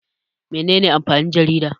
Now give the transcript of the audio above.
Mene ne amfanin jarida?